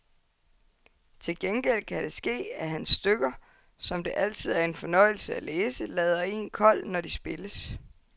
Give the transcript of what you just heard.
Til gengæld kan det ske, at hans stykker, som det altid er en fornøjelse at læse, lader en kold, når de spilles.